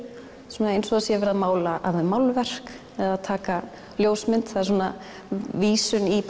svona eins og það sé verið að mála af þeim málverk eða taka ljósmynd það er svona vísun í